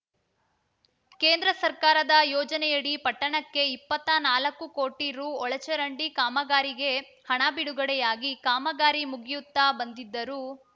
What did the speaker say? ಕೇಂದ್ರ ಸರ್ಕಾರದ ಯೋಜನೆಯಡಿ ಪಟ್ಟಣಕ್ಕೆ ಇಪ್ಪತ್ತಾ ನಾಲ್ಕು ಕೋಟಿ ರು ಒಳಚರಂಡಿ ಕಾಮಗಾರಿಗೆ ಹಣ ಬಿಡುಗಡೆಯಾಗಿ ಕಾಮಗಾರಿ ಮುಗಿಯುತ್ತಾ ಬಂದಿದ್ದರೂ